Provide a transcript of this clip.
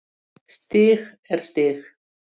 Stig er stig.